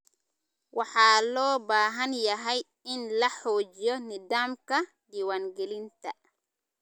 Waxa loo baahan yahay in la xoojiyo nidaamka diwaan gelinta.